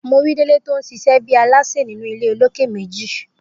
Mo ri Délé ton ṣíṣe bẹ oníṣe ninu ile olókè méjì